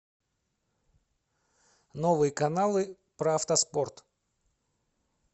новые каналы про автоспорт